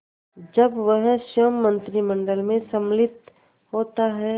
जब वह स्वयं मंत्रिमंडल में सम्मिलित होता है